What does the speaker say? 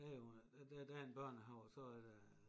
Der er jo der der er en børnehave og så er der